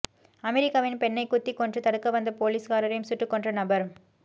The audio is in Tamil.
அமெரிக்காவில் பெண்ணைக் குத்திக் கொன்று தடுக்க வந்த போலீஸ்காரரை சுட்டுக் கொன்ற நபர்